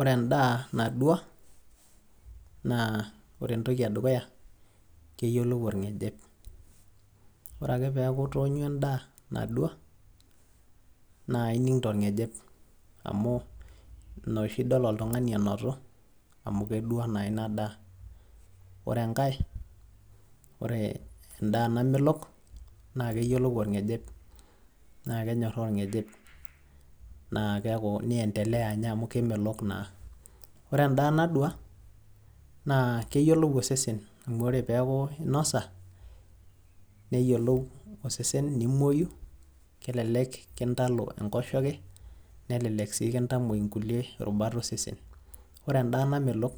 Ore endaa nadua, naa ore entoki edukuya keyiolou orng'ejep. Ore ake peeku itoonywa endaa nadua, na ining' torng'ejep. Amu ina oshi dol oltung'ani enotu, amu kedua naa inadaa. Ore enkae, ore endaa namelok, na keyiolou orng'ejep. Na kenyorraa orng'ejep amu kemelok naa. Ore endaa nadua, na keyiolou osesen, amu ore peeku inosa, neyiolou osesen, nimoyu. Kelelek kintalo enkoshoke, nelelek si kintamoi nkulie rubat osesen. Ore endaa namelok,